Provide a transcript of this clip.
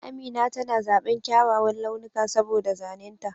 Amina tana zaɓan kyawawan launuka saboda zanen ta.